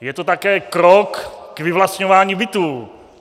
Je to také krok k vyvlastňování bytů.